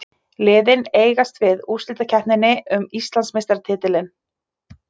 Liðin eigast við úrslitakeppninni um Íslandsmeistaratitilinn